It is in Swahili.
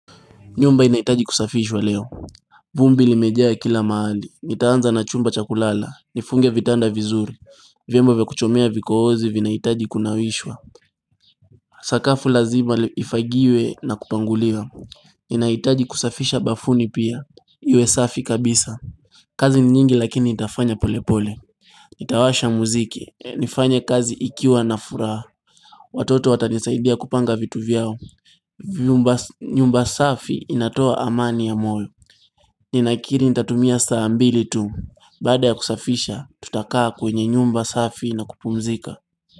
Nyumba inahitaji kusafishwa leo vumbi limejea kila mahali, nitaanza na chumba cha kulala, nifunge vitanda vizuri, vyombo vya kuchomea vikohozi vinahitaji kunawishwa Sakafu lazima ifagiwe na kupangulia inahitaji kusafisha bafuni pia Iwe safi kabisa kazi ni nyingi lakini nitafanya polepole Nitawasha muziki, nifanya kazi ikiwa na furaha Watoto watanisaidia kupanga vitu vyao nyumba safi inatoa amani ya moyo Ninakiri nitatumia saambili tu. Bada ya kusafisha, tutakaa kwenye nyumba safi na kupumzika.